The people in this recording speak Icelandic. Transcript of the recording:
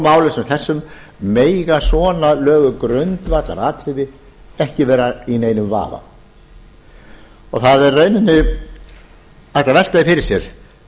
stóru máli sem þessu mega svona löguð grundvallaratriði ekki vera í neinum vafa það er í rauninni hægt að velta því fyrir sér